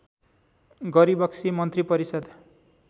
गरिबक्सी मन्त्रिपरिषद्